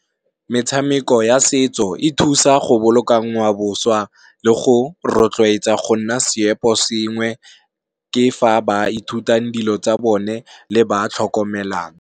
Metshameko ya setso e thusa go boloka ngwao boswa le go rotloetsa go nna seopo sengwe, ke fa ba ithutang dilo tsa bone le ba tlhokomelang.